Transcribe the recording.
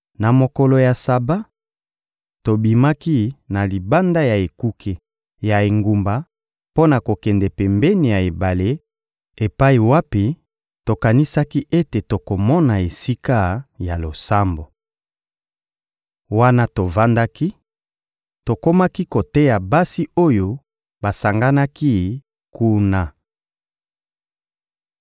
Na mokolo ya Saba, tobimaki na libanda ya ekuke ya engumba mpo na kokende pembeni ya ebale epai wapi tokanisaki ete tokomona esika ya losambo. Wana tovandaki, tokomaki koteya basi oyo basanganaki kuna.